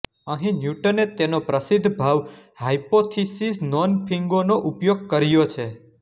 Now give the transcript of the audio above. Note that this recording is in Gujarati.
અહીં ન્યૂટને તેમના પ્રસિદ્ધ ભાવ હાઇપોથીસીસ નોન ફિંગો નો ઉપયોગ કર્યો છે